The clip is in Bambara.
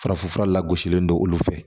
Farafinfura la lagosilen don olu fɛ